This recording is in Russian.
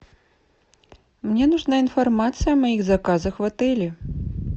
мне нужна информация о моих заказах в отеле